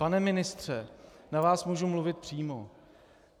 Pane ministře, na vás mohu mluvit přímo.